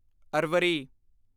ਅਰਵਰੀ